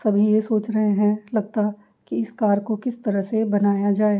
सभी ये सोच रहे हैं लगता है कि इस कार को किस तरह से बनाया जाए।